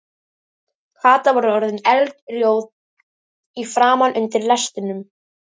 Kata var orðin eldrjóð í framan undir lestrinum.